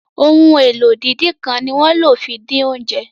Ohun èlò ìdínkán ni wón ló fí dín oúnjẹ.